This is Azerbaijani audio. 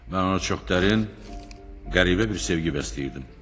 Mən ona çox dərin, qəribə bir sevgi bəsləyirdim.